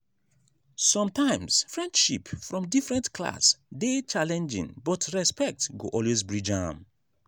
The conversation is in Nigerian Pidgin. sometimes friendship from different class dey challenging but respect go always bridge am.